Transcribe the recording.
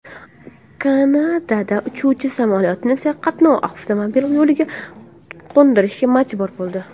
Kanadada uchuvchi samolyotni serqatnov avtomobil yo‘liga qo‘ndirishga majbur bo‘ldi .